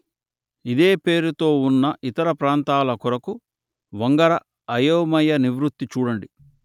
ఇదే పేరుతో ఉన్న ఇతర ప్రాంతాల కొరకు వంగర అయోమయ నివృత్తి చూడండి